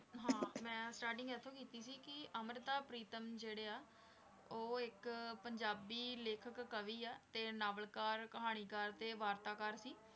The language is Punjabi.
ਹਾਂ ਮੈਂ starting ਇੱਥੋਂ ਕੀਤੀ ਸੀ ਕਿ ਅੰਮ੍ਰਿਤਾ ਪ੍ਰੀਤਮ ਉਹ ਇੱਕ ਪੰਜਾਬੀ ਲੇਖਕ ਕਵੀ ਆ, ਤੇ ਨਾਵਲਕਾਰ,